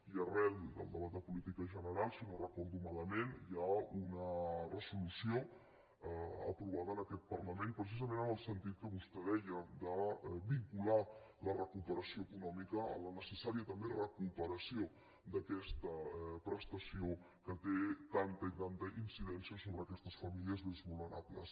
i arran del debat de política general si no ho recordo malament hi ha una resolució aprovada en aquest parlament precisament en el sentit que vostè deia de vincular a la recuperació econòmica la necessària també recuperació d’aquesta prestació que té tanta i tanta incidència sobre aquestes famílies més vulnerables